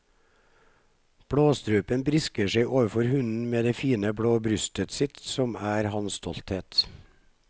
Blåstrupen brisker seg overfor hunnen med det fine blå brystet sitt, som er hans stolthet.